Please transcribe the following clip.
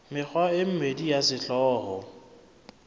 mekgwa e mmedi ya sehlooho